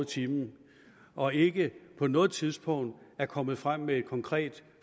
timen og ikke på noget tidspunkt er kommet frem med et konkret